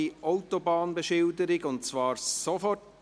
«Zweisprachige Autobahnbeschilderung und zwar sofort